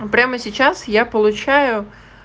прямо сейчас я получаю